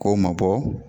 K'o mabɔ